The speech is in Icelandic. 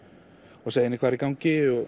og segi henni hvað er í gangi og